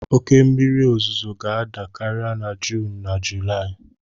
Oke mmiri ozuzo ga-ada karịa na Juun na Julaị.